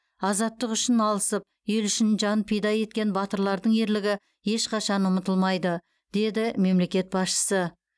азаттық үшін алысып ел үшін жан пида еткен батырлардың ерлігі ешқашан ұмытылмайды деді мемлекет басшысы